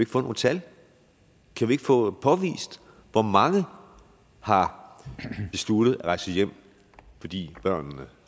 få nogle tal kan vi ikke få påvist hvor mange der har besluttet at rejse hjem fordi børnene